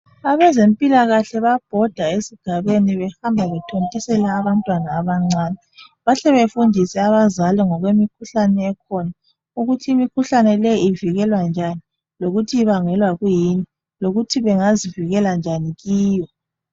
Abezempilakahle bayabhoda esigabeni behamba bethontisela abantwana abancane. Bahle befundise abazali ngokwemikhuhlane ekhona. Ukuthi imikhuhlane leyi ivikelwa njani lokuthi ibangelwa kuyini lokuthi bengazivikela njani kiyo.